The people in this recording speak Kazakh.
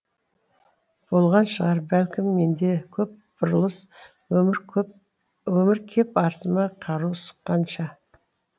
болған шығар бәлкім менде көп бұрылыс өмір кеп артыма кару сұққанша